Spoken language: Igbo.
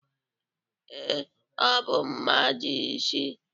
Ee, ọ bụ mmadụ isii.